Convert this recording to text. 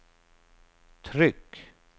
tryck